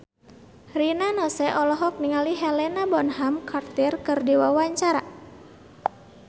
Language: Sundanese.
Rina Nose olohok ningali Helena Bonham Carter keur diwawancara